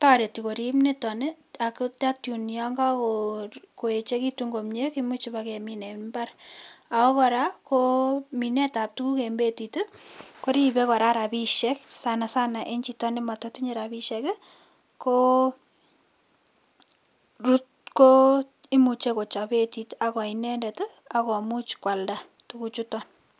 tareti niton tun yakago echekitunbkomie imuch kemin en imbar ako koraa ko Minet ab tuguk en betit koribe koraa rabishek sanasana en Chito nematatinye rabishek ko imuche kochap betit akoinendet akomuche kwalda tuguk chuton